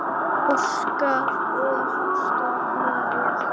Óskar og Ásta María.